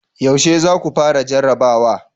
Yaushe za ku fara jarrabawa?